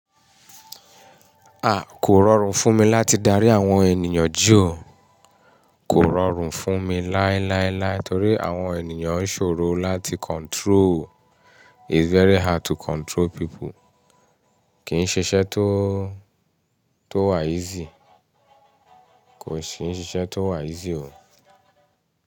À, kò rọrùn fún mi láti darí àwọn ènìyàn jí ọ́. Kò rọrùn fún mi láíláíláí torí àwọn ènìyàn ṣòro láti control. It's very hard to control people it's very hard to control people. Ko si n ṣiṣẹ́ tó wà easy o.